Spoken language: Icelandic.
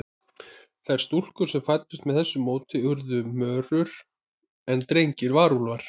Þær stúlkur sem fæddust með þessu móti urðu mörur, en drengirnir varúlfar.